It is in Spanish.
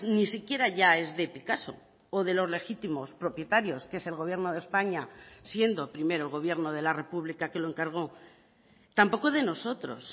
ni siquiera ya es de picasso o de los legítimos propietarios que es el gobierno de españa siendo primero el gobierno de la republica que lo encargó tampoco de nosotros